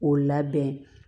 K'o labɛn